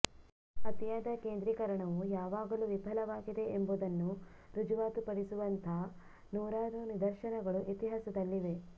ಅತಿಯಾದ ಕೇಂದ್ರೀಕರಣವು ಯಾವಾಗಲು ವಿಫಲವಾಗಿದೆ ಎಂಬುದನ್ನು ರುಜುವಾತು ಪಡಿಸುವಂಥ ನೂರಾರು ನಿದರ್ಶನಗಳು ಇತಿಹಾಸದಲ್ಲಿವೆ